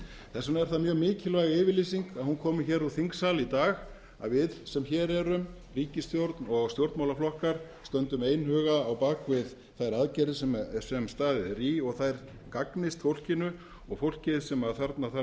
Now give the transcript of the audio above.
vegna er það mjög mikilvæg yfirlýsing að hún komi úr þingsal í dag að við sem hér erum ríkisstjórn og stjórnmálaflokkar stöndum einhuga á bak við þær aðgerðir sem staðið er í og þær gagnist fólkinu og fólkið sem þarna þarf